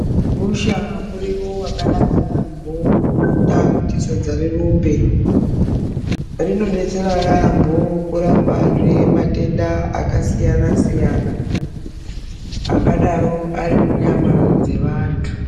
Gusha muriwo wakanaka yaambho unoita kuti sadza rirumbe rinodetserazve kurapa matenda akasiyana siyana angadaro ari munyama dzevanthu.